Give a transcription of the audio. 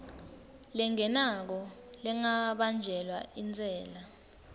lengenako lengabanjelwa intsela